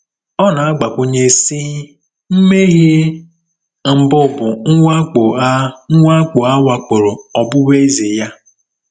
Ọ na-agbakwụnye, sị: “ Mmehie mbụ bụ mwakpo a mwakpo a wakporo ọbụbụeze ya.”